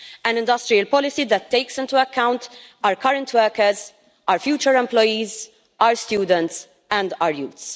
an industrial policy that takes into account our current workers, our future employees, our students and our youth.